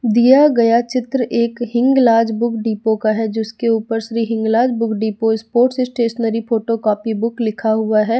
दिया गया चित्र एक हिंगलार्ज बुक डिपो का है जिसके ऊपर Shri Hinglaj book depot sports stationery photo copy book लिखा हुआ है।